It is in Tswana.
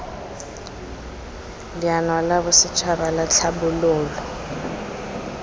leano la bosetšhaba la tlhabololo